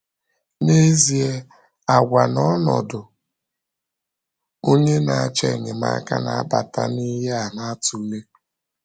N’ezie, àgwà na ọnọdụ onye na-achọ enyemaka na-abata na ihe a na-atụle.